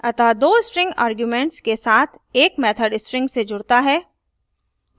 अतः दो string arguments के साथ add method string से जुडता है